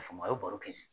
A fanga ye baro kɛ